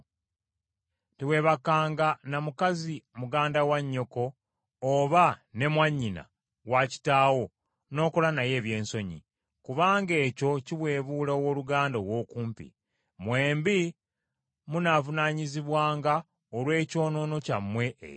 “ ‘Teweebakanga na mukazi muganda wa nnyoko oba ne mwannyina wa kitaawo n’okola naye eby’ensonyi, kubanga ekyo kiweebuula owooluganda ow’okumpi. Mwembi munaavunaanyizibwanga olw’ekyonoono kyammwe ekyo.